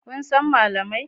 Kun san malamai?